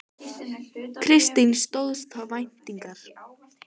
Kristín: Stóðst það væntingar?